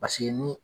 Paseke ni